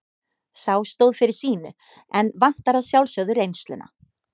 Sá stóð fyrir sínu en vantar að sjálfsögðu reynsluna.